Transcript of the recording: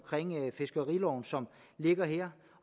fiskeriloven som ligger her